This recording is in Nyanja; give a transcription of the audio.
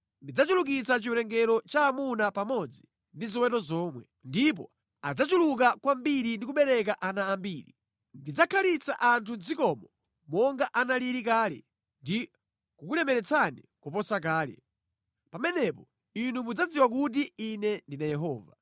Ndidzachulukitsa chiwerengero cha amuna pamodzi ndi ziweto zomwe, ndipo adzachuluka kwambiri ndi kubereka ana ambiri. Ndidzakhazika anthu mʼdzikomo monga analili kale, ndi kukulemeretsani kuposa kale. Pamenepo inu mudzadziwa kuti Ine ndine Yehova.